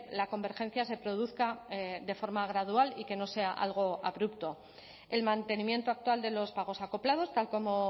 la convergencia se produzca de forma gradual y que no sea algo abrupto el mantenimiento actual de los pagos acoplados tal como